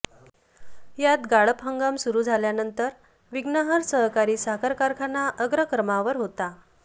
यात गाळप हंगाम सुरू झाल्यानंतर विघ्नहर सहकारी साखर कारखाना अग्रक्रमावर होता